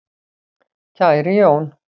Kæri Jón